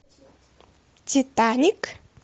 титаник